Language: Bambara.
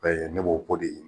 B'a ye, ne b'o ko de